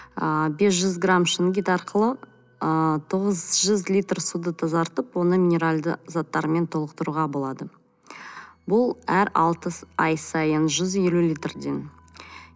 ыыы бес жүз грамм шунгит арқылы ы тоғыз жүз литр суды тазартып оны минералды заттармен толықтыруға болады бұл әр алты ай сайын жүз елу литрден